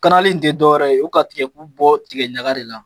Kanali ti dɔwɛrɛ ye , u ka tigɛ bu bɔ tigɛ ɲaga de la.